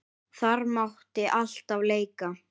Þar mátti alltaf leika.